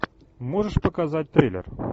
можешь показать триллер